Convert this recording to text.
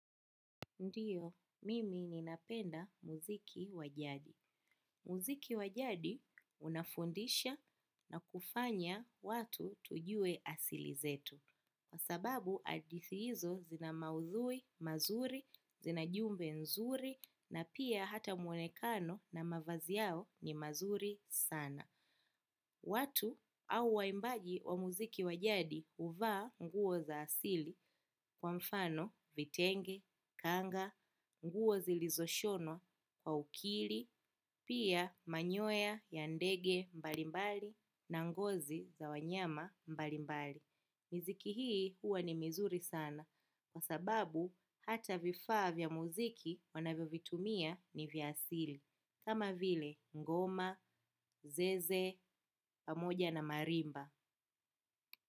Ndiyo, mimi ni napenda muziki wa jadi. Muziki wa jadi unafundisha na kufanya watu tujue asili zetu. Kwa sababu, hadithi hizo zina maudhui, mazuri, zina jumbe nzuri, na pia hata mwonekano na mavazi yao ni mazuri sana. Watu au waimbaji wa muziki wa jadi huvaa nguo za asili kwa mfano vitenge, kanga, nguo zilizoshonwa, kwa ukili, pia manyoya ya ndege mbalimbali na ngozi za wanyama mbalimbali. Miziki hii huwa ni mizuri sana kwa sababu hata vifaa vya muziki wanavyovitumia ni vya asili. Kama vile ngoma zeze pamoja na marimba.